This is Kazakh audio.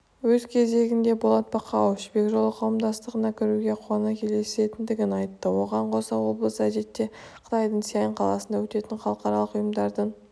өз кезегінде болат бақауов жібек жолы қауымдастығына кіруге қуана келісетіндігін айтты оған қоса облыс әдетте қытайдың сиянь қаласында өтетін халықаралық ұйымдардың